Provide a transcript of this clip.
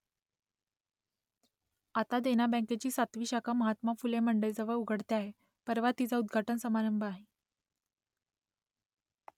आता देना बँकेची सातवी शाखा महात्मा फुले मंडईजवळ उघडते आहे , परवा तिचा उद्घाटन समारंभ आहे